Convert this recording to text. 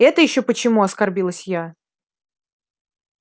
это ещё почему оскорбилась я